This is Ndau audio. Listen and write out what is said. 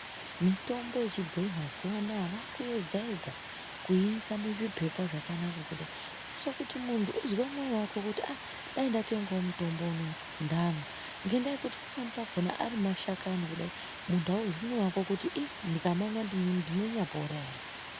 Mitombo yechibhoyi mazuwa anaa vakuedza edza kuyiisa muzvipepa zvakanakanaka kudai kuite kuti munthu uzwe mwoyo wako kuti ah dai ndatengawo mutombo unowu ndamwa ngekuti panweni pakhona ari mashakani kudai munthu auzwi mwoyo wako kuti ih ndikamamwa ndinonyapora ere.